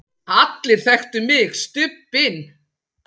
allir þekktu mig, Stubbinn.